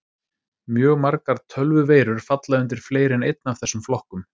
Mjög margar tölvuveirur falla undir fleiri en einn af þessum flokkum.